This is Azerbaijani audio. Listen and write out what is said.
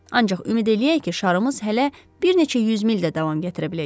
Ancaq ümid eləyək ki, şarımız hələ bir neçə yüz mil də davam gətirə biləcək.